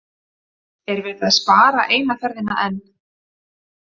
Er verið að spara eina ferðina enn?